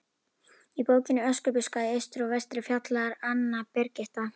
Í bókinni Öskubuska í austri og vestri fjallar Anna Birgitta